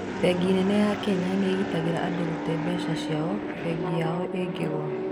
Bengi nene ya Kenya nĩgitagĩra andũ gũte mbeca ciao bengi yao ĩngĩgũa